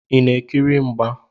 Ị na-ekiri mgba?